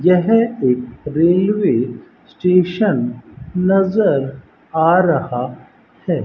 यह एक railway station नजर आ रहा है।